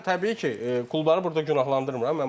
Mən təbii ki, klubları burda günahlandırmıram.